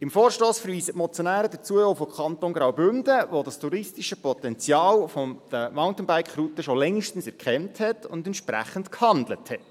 Im Vorstoss verweisen die Motionäre zudem auf den Kanton Graubünden, der das touristische Potenzial der Mountainbike-Routen schon längst erkannt und entsprechend gehandelt hat.